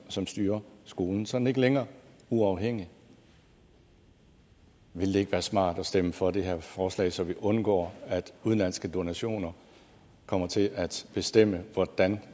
som styrer skolen så er den ikke længere uafhængig ville det ikke være smart at stemme for det her forslag så vi undgår at udenlandske donationer kommer til at bestemme hvordan